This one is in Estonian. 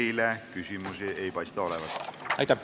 Teile küsimusi ei paista olevat.